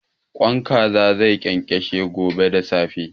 Ƙwan Kaza zai ƙenƙeshe gobe da safe.